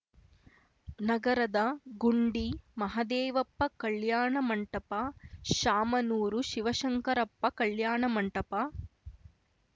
ನಗರದ ಗುಂಡಿ ಮಹದೇವಪ್ಪ ಕಲ್ಯಾಣ ಮಂಟಪ ಶಾಮನೂರು ಶಿವಶಂಕರಪ್ಪ ಕಲ್ಯಾಣ ಮಂಟಪ